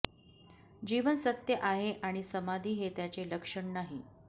जीवन सत्य आहे आणि समाधी हे त्याचे लक्षण नाही